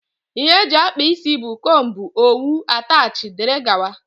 Ihe eji akpa ịsị bụ; combú, owu, atachi wdg.